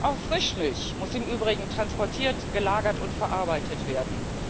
Auch Frischmilch muss im Übrigen transportiert, gelagert und verarbeitet werden.